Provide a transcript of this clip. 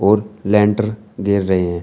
और लेंटर गिर रहे हैं।